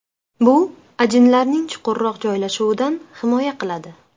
Bu ajinlarning chuqurroq joylashuvidan himoya qiladi.